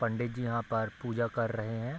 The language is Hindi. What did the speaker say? पण्डितजी यहाँ पर पूजा कर रहे हैं।